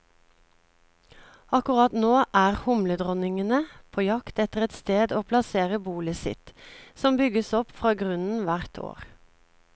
Akkurat nå er humledronningene på jakt etter et sted å plassere bolet sitt, som bygges opp fra grunnen hvert år.